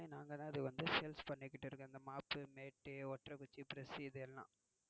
நாங்க தான் வந்து சேல்ஸ் பன்னிட்டு இருக்கோம் இந்த mop mat ஓட்டற குச்சி எல்லாம்